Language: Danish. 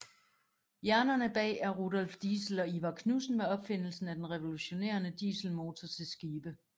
Hjernerne bag er Rudolf Diesel og Ivar Knudsen med opfindelsen af den revolutionerende dieselmotor til skibe